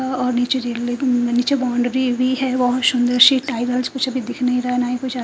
अह और नीचे रेलवे नीचे बाउंड्री भी है बहुत सुंदर सी टाइल वाइल कुछ अभी दिख नहीं रहा है ना ही कुछ--